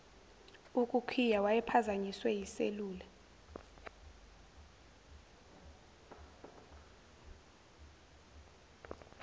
ukukhiya wayephazanyiswe yiselula